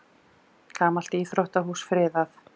Gamalt íþróttahús friðað